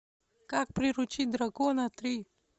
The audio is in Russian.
как приручить дракона три